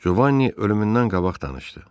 Covan'ı ölümündən qabaq danışdı.